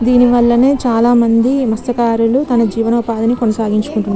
దేని వల నే చాల మంది మస్త్యా కారులు తన జీవనోపాధినీ కొనసగించుకుంటు --